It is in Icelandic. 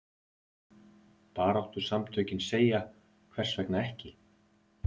Baráttusamtökin segja hvers vegna ekki?